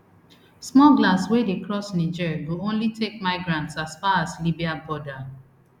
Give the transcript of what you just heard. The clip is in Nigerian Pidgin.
smugglers wey dey cross niger go only take migrants as far as libya border